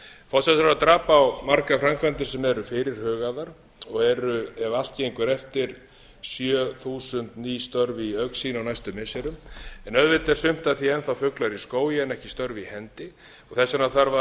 á ríkisfjármálin forsætisráðherra drap á margar framkvæmdir sem eru fyrirhugaðar og eru ef allt gengur eftir sjö þúsund ný störf í augsýn á næstu missirum en auðvitað er sumt af því enn þá fuglar í skógi en ekki störf í hendi og þess vegna